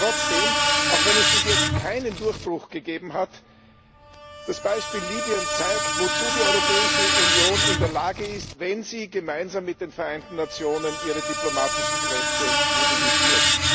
Trotzdem Auch wenn es bis jetzt keinen Durchbruch gegeben hat, das Beispiel Libyen zeigt, wozu die Europäische Union in der Lage ist, wenn sie gemeinsam mit den Vereinten Nationen ihre diplomatischen Kräfte mobilisiert.